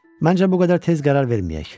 Məncə bu qədər tez qərar verməyək.